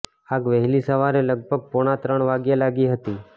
આગ વહેલી સવારે લગભગ પોણા ત્રણ વાગ્યે લાગી હતી